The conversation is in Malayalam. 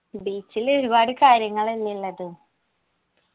beach ല് ഒരുപാട് കാര്യങ്ങളെന്നെ ഇള്ളത്